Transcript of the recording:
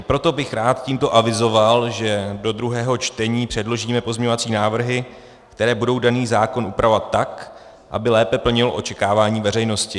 I proto bych rád tímto avizoval, že do druhého čtení předložíme pozměňovací návrhy, které budou daný zákon upravovat tak, aby lépe plnil očekávání veřejnosti.